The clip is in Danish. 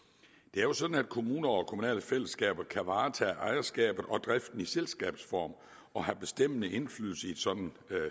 det er jo sådan at kommuner og kommunale fællesskaber kan varetage ejerskabet og driften i selskabsform og have bestemmende indflydelse i et sådant